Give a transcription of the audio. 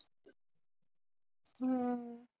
ਹੂੰ।